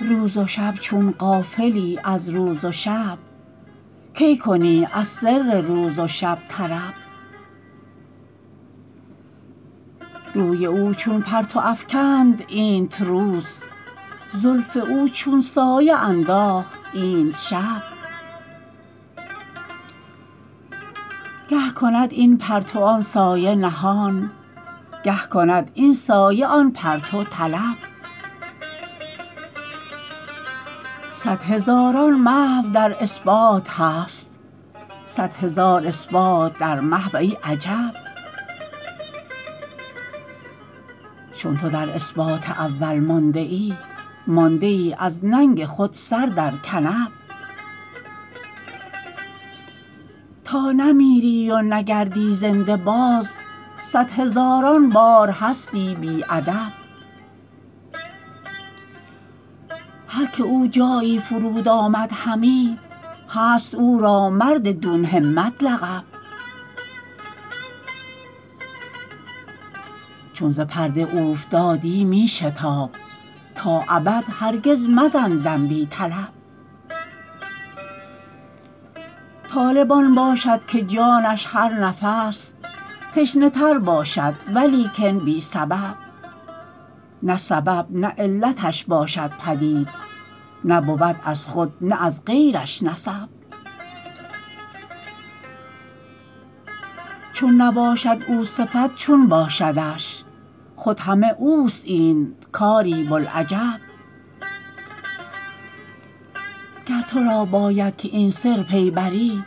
روز و شب چون غافلی از روز و شب کی کنی از سر روز و شب طرب روی او چون پرتو افکند اینت روز زلف او چون سایه انداخت اینت شب گه کند این پرتو آن سایه نهان گه کند این سایه آن پرتو طلب صد هزاران محو در اثبات هست صد هزار اثبات در محو ای عجب چون تو در اثبات اول مانده ای مانده ای از ننگ خود سر در کنب تا نمیری و نگردی زنده باز صد هزاران بار هستی بی ادب هر که او جایی فرود آمد همی هست او را مرددون همت لقب چون ز پرده اوفتادی می شتاب تا ابد هرگز مزن دم بی طلب طالب آن باشد که جانش هر نفس تشنه تر باشد ولیکن بی سبب نه سبب نه علتش باشد پدید نه بود از خود نه از غیرش نسب چون نباشد او صفت چون باشدش خود همه اوست اینت کاری بوالعجب گر تو را باید که این سر پی بری